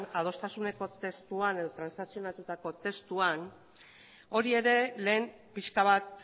adostasuneko testuan edo transakzionatutako testuan hori ere lehen pixka bat